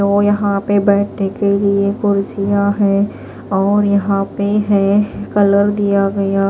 तो यहां पे बैठने के लिए कुर्सियां है और यहां पे है कलर दिया गया --